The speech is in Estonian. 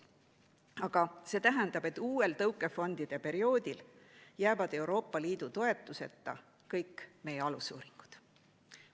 Aga see tähendab, et uuel tõukefondide perioodil jäävad Euroopa Liidu toetuseta kõik meie alusuuringud.